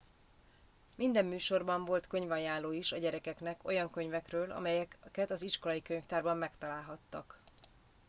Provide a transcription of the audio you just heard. minden műsorban volt könyvajánló is a gyerekeknek olyan könyvekről amelyeket az iskolai könyvtárban megtalálhattak